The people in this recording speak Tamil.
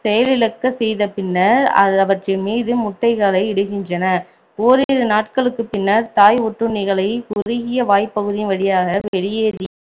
செயலிழக்க செய்த பின்னர் அவற்றின் மீது முட்டைகளை இடுக்கின்றன ஓரிரு நாட்களுக்கு பின்னர் தாய் ஒட்டுண்ணிகளை குறுகிய வாய்ப்பகுதியின் வழியாக வெளியேறி